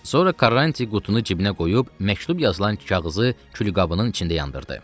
Sonra Karranti qutunu cibinə qoyub, məktub yazılan kağızı külqabının içində yandırdı.